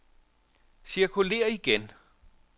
cirkulér igen